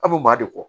A bɛ maa de kɔ